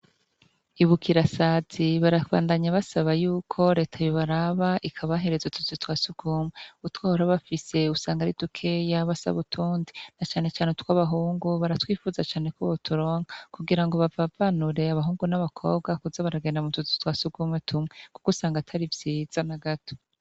Ibukirasazi barabandanya basaba yuko reta yobaraba ikabahereza utuzu twa sugumwe, utwo bahora bafise usanga ari dukeya basaba utundi, na cane cane utwabahungu baratwipfuza cane ko boturonka kugira ngo bavavanure abahungu n’abakobwa kuza baragenda mutuzu twa sugumwe tumwe, kuko usanga atari vyiza nagato.